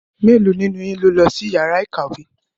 Mélòó nínú yín ló lọ sí yàrá ìkàwé?